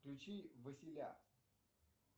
включи василя